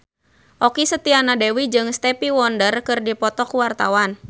Okky Setiana Dewi jeung Stevie Wonder keur dipoto ku wartawan